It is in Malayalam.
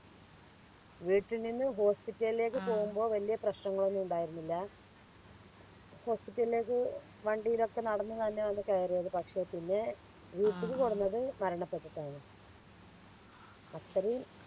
വീട്ടിൽ നിന്നും Hospital ലേക്ക് പോകുമ്പോ വലിയ പ്രശ്നങ്ങളൊന്നും ഉണ്ടായിരുന്നില്ല Hospital ലേക്ക് വണ്ടിലൊക്കെ നടന്നു തന്നെയാണ് കയറിയത് പക്ഷെ പിന്നെ വീട്ടിക്ക് കെടന്നത്‌ മരണപ്പെട്ടിട്ടാണ് അത്രയും